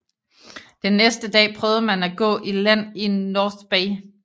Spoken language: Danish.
Den næste dag prøvede man at gå i land i North Bay